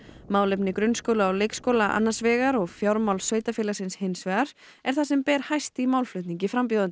málefni grunnskóla og leikskóla annars vegar og fjármál sveitarfélagsins hins vegar er það sem ber hæst í málflutningi frambjóðenda